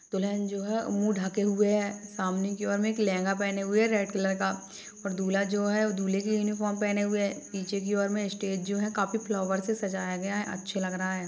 दुलहन जो है मुह ढके हुए है सामने की और मे एक लेहंगा पहने हुए है रेड कलर का और दूल्हा जो है वो दूल्हे की यूनिफॉर्म पेहने हुए है पीछे की और मे स्टेज जो है काफी फ्लावर से सजाया गया है अच्छे लग रहा है।